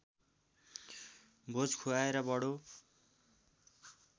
भोज खुवाएर बडो